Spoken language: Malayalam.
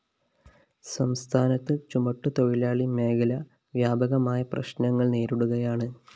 സംസ്ഥാനത്ത് ചുമട്ടുതൊഴിലാളി മേഖല വ്യാപകമായ പ്രശ്‌നങ്ങള്‍ നേരിടുകയാണ്